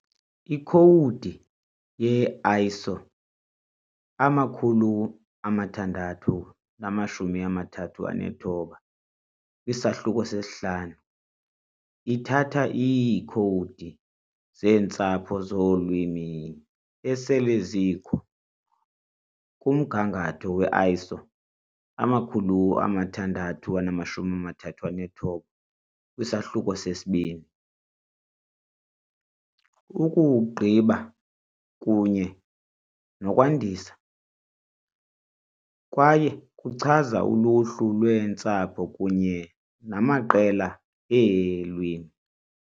Ikhowudi ye-ISO 639-5 ithatha iikhowudi zeentsapho zolwimi esele zikho kumgangatho we -ISO 639-2, ukuwugqiba kunye nokwandisa, kwaye kuchaza uluhlu lweentsapho kunye namaqela eelwimi.